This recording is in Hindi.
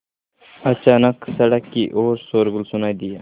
अचानक सड़क की ओर शोरगुल सुनाई दिया